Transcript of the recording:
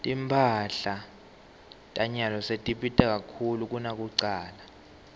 timphahla tanyalo setibita kakhulu kunakucala